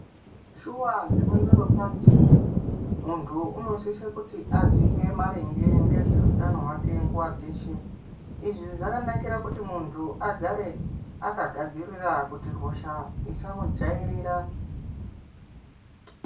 Shuva zvemandorokwati muntu unosise kuti aziye maringe ngezveutano hwake nguva dzeshe. Izvi zvakanakira kuti muntu agare akagadzirira kuti hosha isamujairira.